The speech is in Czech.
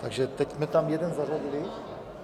Takže teď jsme tam jeden zařadili?